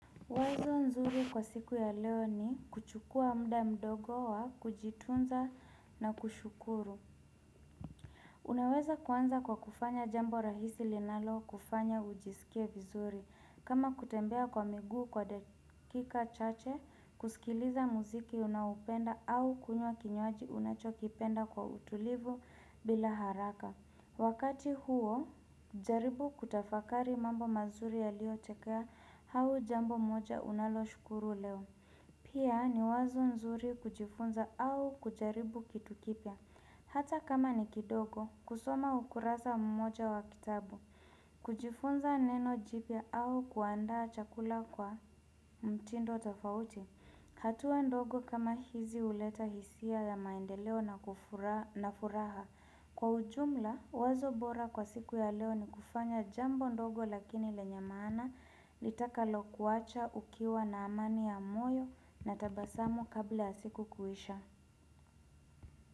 Wazo nzuri kwa siku ya leo ni kuchukuwa muda mdogo wa kujitunza na kushukuru. Unaweza kuanza kwa kufanya jambo rahisi linalokufanya ujisikie vizuri. Kama kutembea kwa miguu kwa dakika chache kusikiliza muziki unaopenda au kunywa kinywaji unachokipenda kwa utulivu bila haraka. Wakati huo, jaribu kutafakari mambo mazuri yalio tokea au jambo moja unaloshukuru leo. Pia ni wazo nzuri kujifunza au kujaribu kitu kipya. Hata kama ni kidogo, kusoma ukurasa mmoja wa kitabu. Kujifunza neno jipya au kuandaa chakula kwa mtindo tofauti. Hatua ndogo kama hizi huleta hisia ya maendeleo na furaha. Kwa ujumla, wazo bora kwa siku ya leo ni kufanya jambo ndogo lakini lenye maana litakalo kuacha ukiwa na amani ya moyo na tabasamu kabla ya siku kuisha.